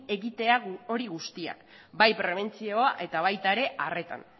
egitea hori guztiak bai prebentzioa eta baita ere arreta